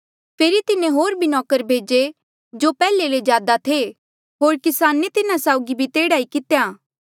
फेरी तिन्हें होर भी नौकर भेजे जो पैहले ले ज्यादा थे होर किसाने तिन्हा साउगी भी तेह्ड़ा ई कितेया